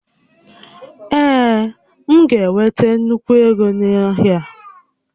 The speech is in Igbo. Ee, m ga-enweta nnukwu égo na-ahịa a